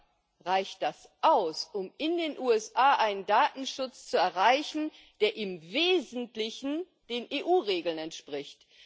Aber reicht das aus, um in den USA einen Datenschutz zu erreichen, der im Wesentlichen den EU Regeln entspricht?